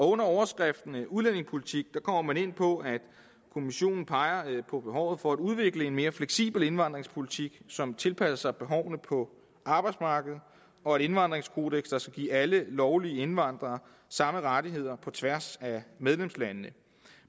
under overskriften udlændingepolitik kommer man ind på at kommissionen peger på behovet for at udvikle en mere fleksibel indvandringspolitik som tilpasser sig behovene på arbejdsmarkedet og et indvandringskodeks der skal give alle lovlige indvandrere samme rettigheder på tværs af medlemslandene